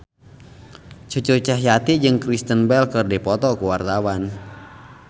Cucu Cahyati jeung Kristen Bell keur dipoto ku wartawan